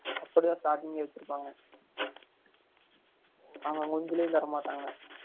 அப்டி தான் startig ஏ வச்சு இருகாங்க அங்க குஞ்சுலையும் தரமாடாங்க